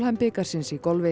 bikarsins í golfi